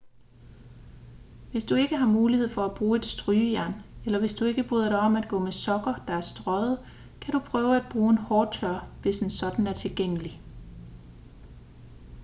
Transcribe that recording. hvis du ikke har mulighed for at bruge et strygejern eller hvis du ikke bryder dig om at gå med sokker der er strøget kan du prøve at bruge en hårtørrer hvis en sådan er tilgængelig